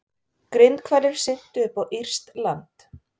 Grindhvalir syntu upp á írskt land